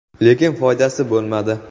Lekin foydasi bo‘lmadi.